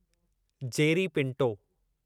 Jerry Pinto